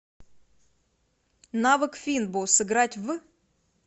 навык финбо сыграть в